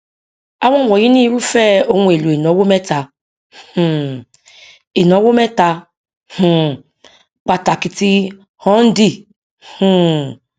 àwọn wọnyìí ni irúfẹ ohun èlò ìnáwó mẹta um ìnáwó mẹta um pàtàkì tí ọndì um